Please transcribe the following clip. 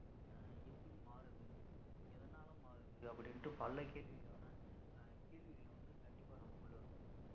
அஹ் எப்படி மாறுது எதனால மாறுது அப்படின்னுட்டு பல கேள்வி வேணா அஹ் கேள்விகள் வந்து கண்டிப்பா நமக்குள்ள இருக்கும்